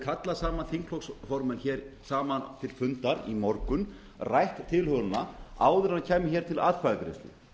kallað þingflokksformenn saman til fundar í morgun rætt tilhögunina áður en kæmi til atkvæðagreiðslu